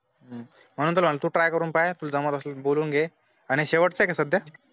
हं, म्हणून तर सांगतो try करून पाय तू जमलं ते बोलून घे, आणि शेवटचय का सध्या